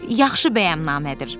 Yaxşı bəyannamədir.